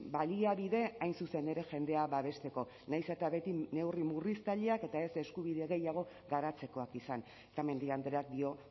baliabide hain zuzen ere jendea babesteko nahiz eta beti neurri murriztaileak eta ez eskubide gehiago garatzekoak izan eta mendia andreak dio